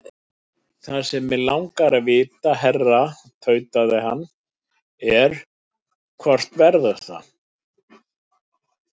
Það sem mig langar að vita, herra tautaði hann, er, hvort verður það?